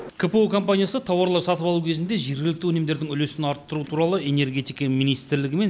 кпо компаниясы тауарлар сатып алу кезінде жергілікті өнімдердің үлесін арттыру туралы энергетика министрлігімен